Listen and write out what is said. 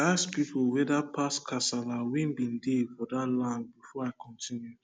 i ask pipu whetherpast kasala wen bin dey for dat land before i continue